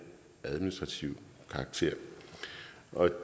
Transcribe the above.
administrativ karakter